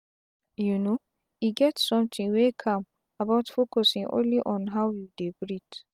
you know e get sometin wey calm about focusin only on how you dey breath.